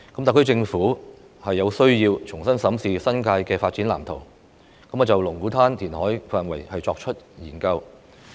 特區政府有需要重新審視新界的發展藍圖，就龍鼓灘填海範圍進行研究。